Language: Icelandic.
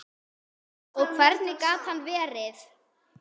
Og hvernig gat annað verið?